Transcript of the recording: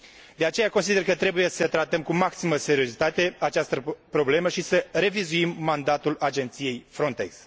De aceea, consider că trebuie să tratăm cu maximă seriozitate această problemă și să revizuim mandatul Agenției Frontex.